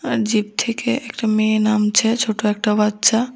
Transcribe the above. Zip থেকে একটা মেয়ে নামছে ছোট একটা বাচ্চা।